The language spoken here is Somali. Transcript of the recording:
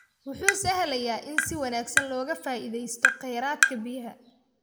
Wuxuu sahlayaa in si wanaagsan looga faa'ideysto kheyraadka biyaha.